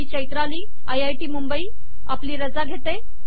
me Chaitrali I I T Mumbai आपली रजा घेते